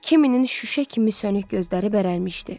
Kiminin şüşə kimi sönük gözləri bərəlmışdı.